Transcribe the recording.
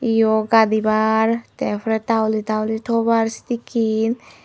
yot gadibar te pore tauli tauli tobar sedekken.